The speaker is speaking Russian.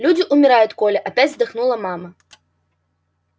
люди умирают коля опять вздохнула мама